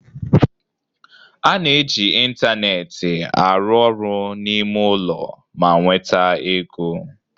A na-eji ịntanetị arụ ọrụ n'ime ulo ma nweta ego.